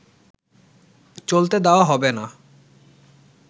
চলতে দেওয়া হবে না